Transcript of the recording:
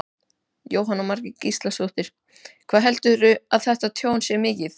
Jóhanna Margrét Gísladóttir: Hvað heldurðu að þetta tjón sé mikið?